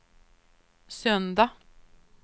söndag